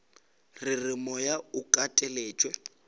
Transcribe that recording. re re moya o kateletšwe